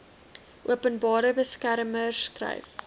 openbare beskermer skryf